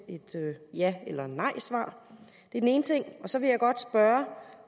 ja eller nej svar det er den ene ting så vil jeg godt spørge